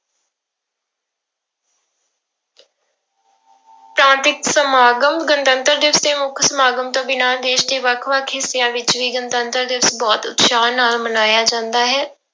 ਪ੍ਰਾਂਤਿਕ ਸਮਾਗਮ, ਗਣਤੰਤਰ ਦਿਵਸ ਦੇ ਮੁੱਖ ਸਮਾਗਮ ਤੋਂ ਬਿਨਾਂ ਦੇਸ ਦੇ ਵੱਖ ਵੱਖ ਹਿੱਸਿਆਂ ਵਿੱਚ ਵੀ ਗਣਤੰਤਰ ਦਿਵਸ ਬਹੁਤ ਉਤਸ਼ਾਹ ਨਾਲ ਮਨਾਇਆ ਜਾਂਦਾ ਹੈ।